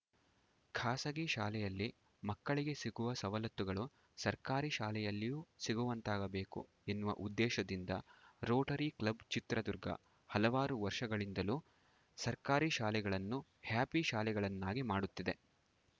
ಖಾಸಗಿ ಶಾಲೆಯಲ್ಲಿ ಮಕ್ಕಳಿಗೆ ಸಿಗುವ ಸವಲತ್ತುಗಳು ಸರ್ಕಾರಿ ಶಾಲೆಯಲ್ಲಿಯೂ ಸಿಗುವಂತಾಗಬೇಕು ಎನ್ನುವ ಉದ್ದೇಶದಿಂದ ರೋಟರಿ ಕ್ಲಬ್‌ ಚಿತ್ರದುರ್ಗ ಹಲವಾರು ವರ್ಷಗಳಿಂದಲೂ ಸರ್ಕಾರಿ ಶಾಲೆಗಳನ್ನು ಹ್ಯಾಪಿ ಶಾಲೆಗಳನ್ನಾಗಿ ಮಾಡುತ್ತಿದೆ